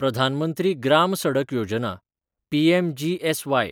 Pradhan Mantri Gram Sadak Yojana (PMGSY)